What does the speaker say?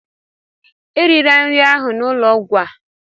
Erila nri ahụ n'ụlọ ọgwụ a!